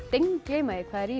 steingleyma því hvað er í